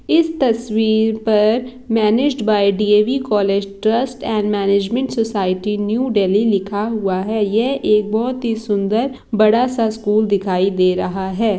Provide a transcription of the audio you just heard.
इस तस्वीर पर managed by D _A V college trust and management society New Delhi लिखा हुआ है यह एक बहुत ही सुन्दर बड़ा सा स्कूल दिखाई दे रहा है।